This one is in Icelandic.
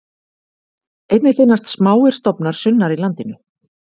Einnig finnast smáir stofnar sunnar í landinu.